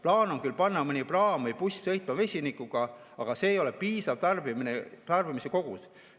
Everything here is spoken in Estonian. Plaan on küll panna mõni praam või buss sõitma vesinikuga, aga see ei ole piisav tarbimise kogus.